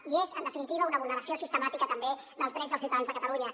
i és en definitiva una vulneració sistemàtica també dels drets dels ciutadans de catalunya